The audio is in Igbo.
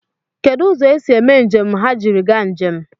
Kedụ ụzọ esi eme njem ha jiri gaa njem?